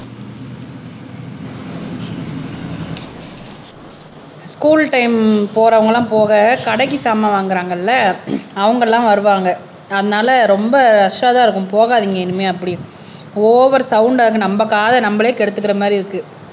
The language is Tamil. ஸ்கூல் டைம் போறவங்க எல்லாம் போக கடைக்கு சாமான் வாங்குறாங்கல்ல அவங்கெல்லாம் வருவாங்க அதனால ரொம்ப ரஸ்ஸா தான் இருக்கும் போகாதீங்க இனிமேல் அப்படின்னு ஓவர் சவுண்டா இருக்கும நம்ப காதை, நம்மளே கெடுத்துக்கிற மாதிரி இருக்கு